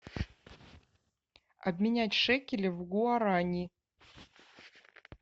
обменять шекели в гуарани